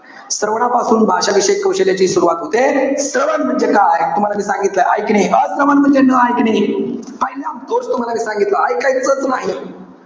श्रवणापासून भाषाविषयक कौशल्याची सुरवात होते. श्रवण म्हणजे काय? तुम्हाला मी सांगितलंय, ऐकणे. अश्रवण म्हणजे न ऐकणे. पहिला दोष मी तुम्हाला सांगितला. इकायचंच नाही.